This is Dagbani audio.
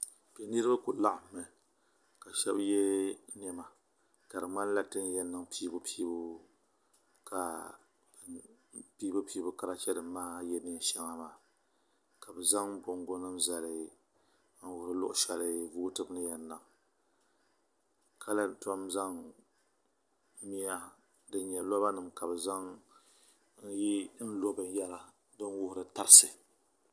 Kpe niribi ku laɣim mi. kashebi ye nema di mŋanla ti n yi yan niŋ piibupiibu ka karachi nim maa ye neen shaŋa maa. ka bɛ zaŋ boŋgo nim zali zali ka lan tom zaŋ miya n lɔ nlɔ din wuhiri tarisi